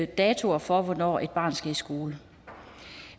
datoer for hvornår et barn skal i skole